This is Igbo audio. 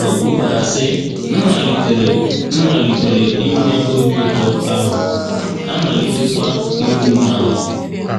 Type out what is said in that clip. O kwukwara, sị: “ M malitere M malitere inwe obi ụtọ, ahụ́ amalitekwa iru m ala.